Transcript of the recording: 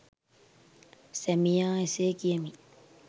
සැමියා එසේ කියමින්